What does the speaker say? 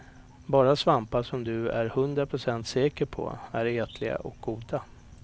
Bara svampar som du är hundra procent säker på är ätliga och goda.